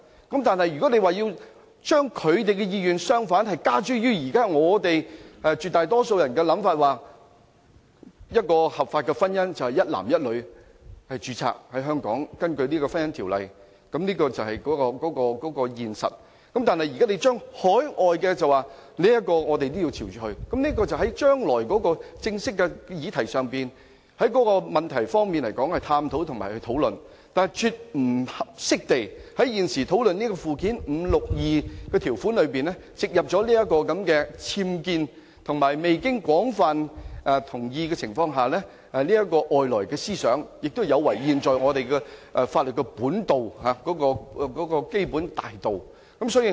但是，如果將他們的意願加諸絕大多數人的想法——即合法婚姻是一男一女根據《婚姻條例》在香港註冊，這是現實——他們要求對於海外註冊的同性婚姻，我們亦要朝着走，我認為可以在將來正式的議題上，再作探討和討論，但現時絕不應該在關於附表5第62條的討論上，加入這個"僭建"和未取得廣泛同意的外來思想，這亦有違我們現有法律的基本大道。